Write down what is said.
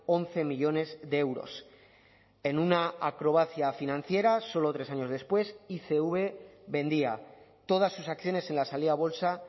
once millónes de euros en una acrobacia financiera solo tres años después icv vendía todas sus acciones en la salida a bolsa